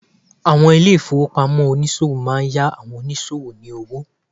Àwọn ilé ìfowópamọ́ tonìsòwò máa n yá àwon onísòwò lówó